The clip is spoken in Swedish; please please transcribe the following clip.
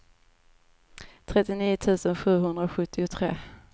trettionio tusen sjuhundrasjuttiotre